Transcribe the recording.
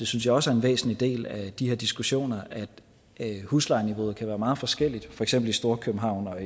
synes også en væsentlig del af de her diskussioner er at huslejeniveauet kan være meget forskelligt for eksempel i storkøbenhavn og